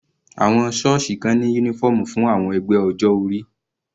Àwọn sọ́ọ̀sì kan ní uniform fún àwọn ẹgbẹ́ ọjọ́ orí.